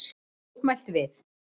Mótmælt við